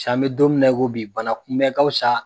Cɛ an bɛ don min na i ko bi bana kunbɛ ka wusa